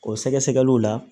O sɛgɛsɛgɛliw la